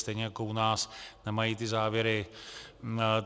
Stejně jako u nás nemají ty závěry.